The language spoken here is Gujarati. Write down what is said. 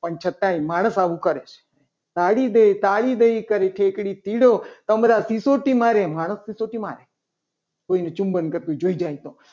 પણ છતાંય માણસ આવું કરે. તાળી દે તાળી દે કરીને ઠેકડી ચીડો સમ્રાટ સિસોટી મારે માણસ સિસોટી મારે કોઈને ચુંબન કરતું જોઈ. જાય તો